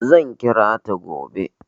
Zan kira ta gobe.